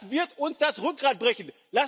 Das wird uns das Rückgrat brechen.